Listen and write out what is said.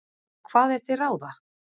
Og hvað er til ráða?